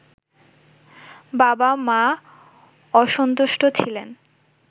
বাবা মা অসন্তুষ্ট ছিলেন